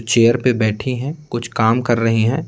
Chair पे बैठी हैं कुछ काम कर रही हैं।